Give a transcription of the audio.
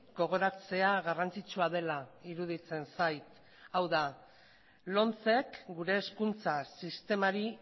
gogoratzea garrantzitsua dela iruditzen zait hau da lomcek gure hezkuntza sistemari